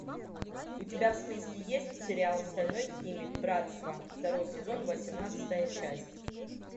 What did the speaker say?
у тебя в списке есть сериал стальной алхимик братство второй сезон восемнадцатая часть